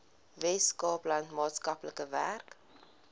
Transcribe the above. weskaapland maatskaplike werk